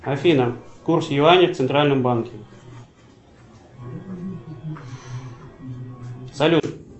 афина курс юаня в центральном банке салют